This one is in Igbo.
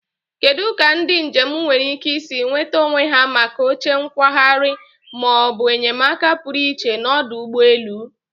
Kedu ka ndị njem nwere ike isi nweta onwe ha maka oche nkwagharị ma ọ bụ enyemaka pụrụ iche n'ọdụ ụgbọ elu?